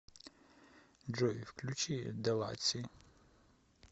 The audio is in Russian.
джой включи деласи